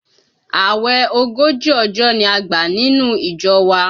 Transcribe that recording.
Àwẹ̀ ogójì ọjọ́ ni a gbà nínú ìjọ wa